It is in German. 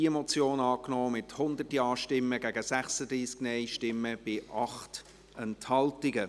Sie haben auch diese Motion angenommen, mit 100 Ja- gegen 36 Nein-Stimmen bei 8 Enthaltungen.